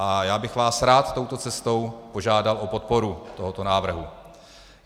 A já bych vás rád touto cestou požádal o podporu tohoto návrhu.